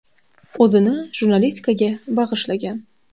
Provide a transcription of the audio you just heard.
O‘zini jurnalistikaga bag‘ishlagan.